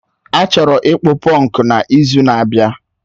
A chọrọ ịkpụ punku n'izu na-abịa